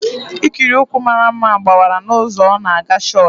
Ikiri ụkwụ mara mma gbawara n'ụzọ ọ na-aga chọọchị